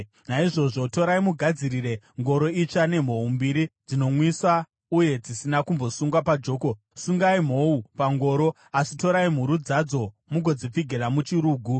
“Naizvozvo torai mugadzirire ngoro itsva, nemhou mbiri dzinonwisa uye dzisina kumbosungwa pajoko. Sungai mhou pangoro, asi torai mhuru dzadzo mugodzipfigira muchirugu.